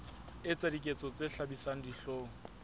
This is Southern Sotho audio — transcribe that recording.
etsa diketso tse hlabisang dihlong